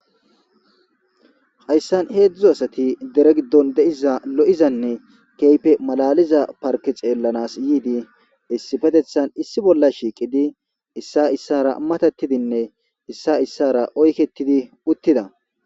Hayssan heezdzdu asati deere giddon deiiza lo'izane kehippe mallaliza parkke xeelanas yiidi issipettethan issi bolla shiqqidi issay issara mattetidine issay issara oykketidi uttida.